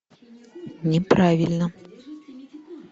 неправильно